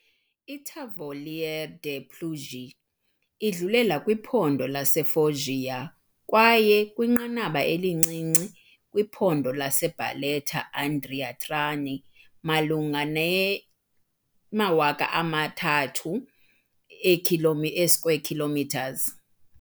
I-Tavoliere delle Puglie idlulela kwiphondo laseFoggia kwaye, kwinqanaba elincinci, kwiphondo laseBarletta-Andria-Trani malunga ne-3000 e-square kilometres.